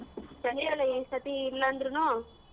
ಈಸರ್ತಿ ಇಲ್ಲ ಅಂದ್ರುನು.